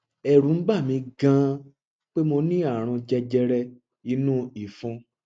ẹrù ń bà mí ganan pé mo ní ààrùn jẹjẹrẹ inú ìfun